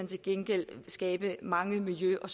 til gengæld vil skabe mange miljø og